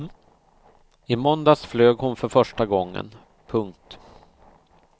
I måndags flög hon för första gången. punkt